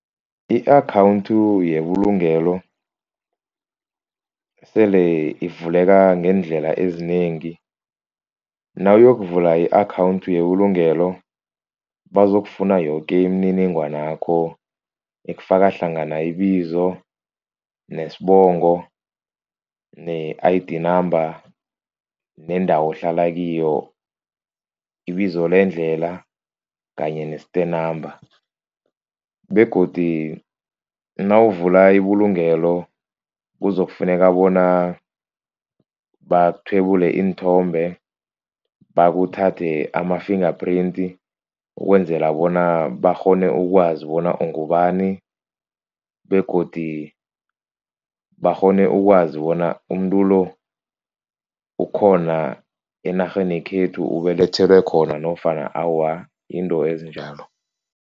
I-account yebulungelo sele ivuleka ngeendlela ezinengi. Nawuyokuvula i-account yebulungelo bazokufuna yoke imininingwanakho ekufaka hlangana ibizo, nesibongo ne-I_D number nendawo ohlala kiyo, ibizo lendlela kanye ne-stand number begodu nawuvula ibulungelo kuzokufuneka bona bakuthwebule iinthombe bakuthathe ama-finger print. Ukwenzela bona bakghone ukwazi bona ungubani begodu bakghone ukwazi bona umuntu lo ukhona enarheni khethu ubelethelwe khona nofana awa yinto ezinjalo.